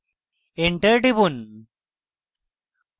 enter টিপুন